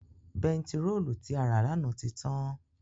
Bẹntiróòlù tí a rà lánàá ti tán.